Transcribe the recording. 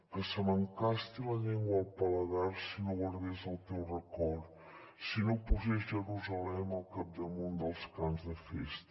que se m’encasti la llengua al paladar si no guardés el teu record si no posés jerusalem al capdamunt dels cants de festa